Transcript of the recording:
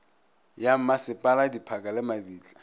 ya mmasepala diphaka le mabitla